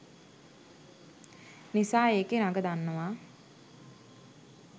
නිසා එකේ රඟ දන්නවා.